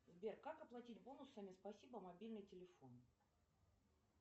сбер как оплатить бонусами спасибо мобильный телефон